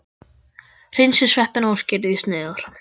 Hreinsið sveppina og skerið í sneiðar.